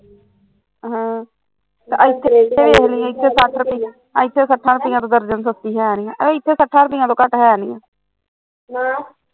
ਹਾਂ ਤੇ ਇੱਥੇ ਏਥੇ ਏਥੇ ਸੱਠਾ ਰੁੱਪਈਆ ਤੋਂ ਦਰਜਨ ਸਸਤੀ ਹੈਨੀ ਇੱਥੇ ਸੱਠਾ ਰੁੱਪਈਆ ਤੋਂ ਘੱਟ ਹੈਨੀ ਆ